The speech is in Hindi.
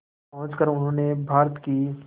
पहुंचकर उन्होंने भारत की